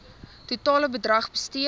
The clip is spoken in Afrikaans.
totale bedrag bestee